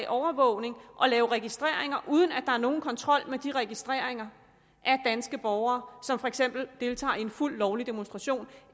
overvågning og lave registreringer uden at der er nogen kontrol med de registreringer af danske borgere som for eksempel deltager i en fuldt lovlig demonstration